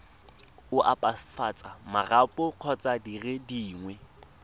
opafatsa marapo kgotsa dire dingwe